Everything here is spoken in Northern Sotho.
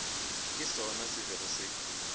ke sona se bego se